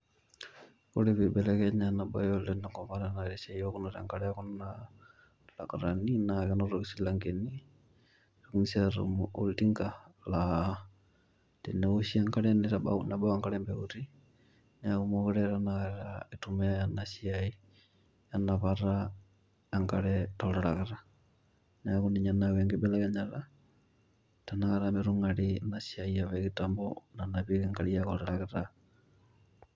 Ore pibelekenya ena bae oleng te nkopang amu tenaa esiaai ewokunoto enkare ekuna lakutani naa kenotoki isilankeni .indimi si atum oltinka laa teneoshi enkare nebau enkare mpeuti neaku mookire tenakata eitumiay ena siai enapakata enkare toltarakita .niaku ninye nayawua enkibelekenyata tenakata